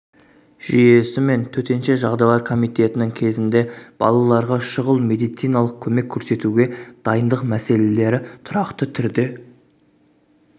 жүйесі мен төтенше жағдайлар комитетінің кезінде балаларға шұғыл медициналық көмек көрсетуге дайындық мәселелері тұрақты түрде